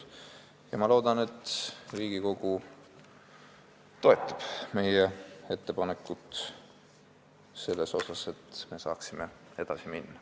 Ja ma loodan, et Riigikogu toetab seda meie ettepanekut, et me saaksime edasi minna.